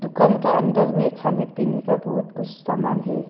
दुकान का अंदर में खाने पीने का बहुत कुछ सामान है।